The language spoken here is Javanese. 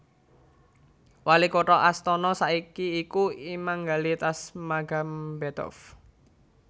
Wali kutha Astana saiki iku Imangali Tasmagambetov